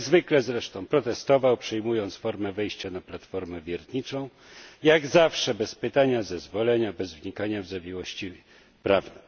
Jak zwykle zresztą protestował, przyjmując formę wejścia na platformę wiertniczą, jak zawsze bez pytania, zezwolenia, bez wnikania w zawiłości prawne.